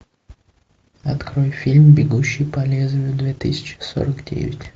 открой фильм бегущий по лезвию две тысячи сорок девять